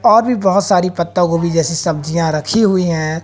और भी बहुत सारी पत्ता गोभी जैसी सब्जियां रखी हुई है।